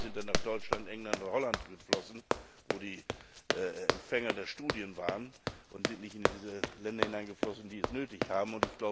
Die Gelder sind dann nach Deutschland, England oder Holland geflossen, wo die Empfänger der Studien waren, und sind nicht in die Länder hineingeflossen, die es nötig haben.